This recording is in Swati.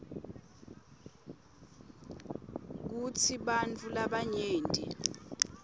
kutsi bantfu labanyenti